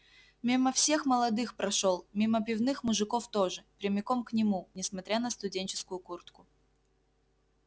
мимо всех молодых прошёл мимо пивных мужиков тоже прямиком к нему несмотря на студенческую куртку